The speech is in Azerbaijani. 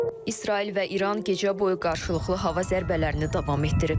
İsrail və İran gecə boyu qarşılıqlı hava zərbələrini davam etdiriblər.